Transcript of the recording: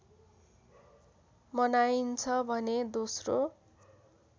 मनाइन्छ भने दोस्रो